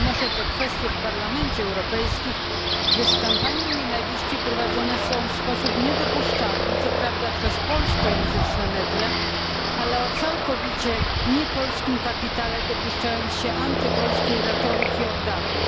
Podnoszę tę kwestię w Parlamencie Europejskim, gdyż kampanie nienawiści prowadzone są w sposób niedopuszczalny, co prawda przez polskojęzyczne media, ale o całkowicie niepolskim kapitale dopuszczając się antypolskiej retoryki od dawna.